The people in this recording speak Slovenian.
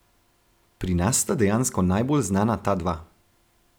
Pri nas sta dejansko najbolj znana ta dva.